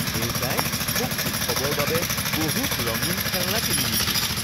দেউতাই মোক উৎসৱৰ বাবে বহুত ৰঙীন খেলনা কিনি দিছিল